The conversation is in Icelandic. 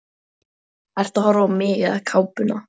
Ertu að horfa á mig eða kápuna?